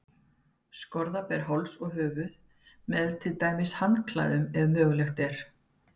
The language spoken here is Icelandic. Skorða ber háls og höfuð, með til dæmis handklæðum, ef mögulegt er.